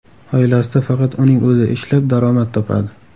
Oilasida faqat uning o‘zi ishlab, daromad topadi.